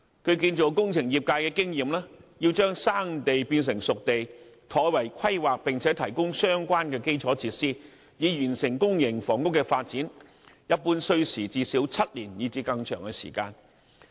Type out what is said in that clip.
據建造工程業界經驗，要將"生地"變成"熟地"，妥為規劃並提供相關基礎設施，以完成公營房屋發展，一般需時最少7年以至更長的時間。